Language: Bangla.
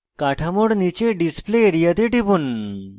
কাঠামোর নীচে display area তে টিপুন